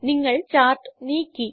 നിങ്ങൾ ചാർട്ട് നീക്കി